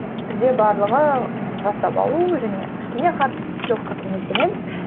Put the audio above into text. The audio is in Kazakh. бізде барлығы жаттап алу және кішкене хард скилсқа көңіл бөлеміз